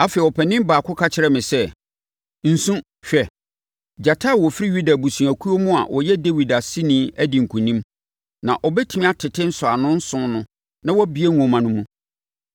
Afei, ɔpanin baako ka kyerɛɛ me sɛ, “Nsu. Hwɛ! Gyata a ɔfiri Yuda abusuakuo mu a ɔyɛ Dawid aseni adi nkonim, na ɔbɛtumi atete nsɔano nson no na wabue nwoma no mu.”